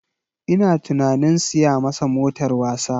Ina tunanin siya masa motar wasa